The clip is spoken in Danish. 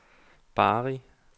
Bari